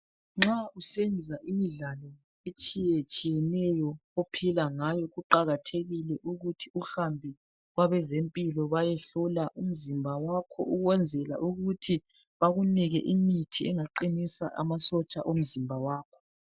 Nxa usenza imidlalo etshiye tshiyeneyo ophila ngayo kuqakathekile ukuthi uhambe kwabezempilo bayehlola umzimba wakho ukwenzela ukuthi bakunike imithi engaqinisa amasotsha omzimba wakho .